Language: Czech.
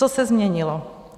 Co se změnilo?